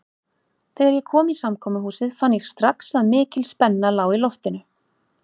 Þegar ég kom í samkomuhúsið fann ég strax að mikil spenna lá í loftinu.